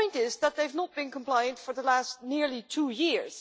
The point is that they have not been compliant for the past nearly two years.